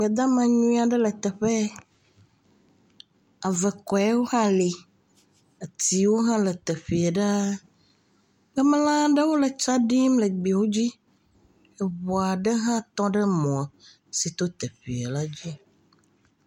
Gbedama nyui aɖe le teƒe ye, ave kɔewo hã le, atiwo hã le teƒee ɖaa, gbemelã aɖewo hã le tsa ɖim le teƒe, eŋu aɖe hã tŋ ɖe mɔ si to teƒee la to.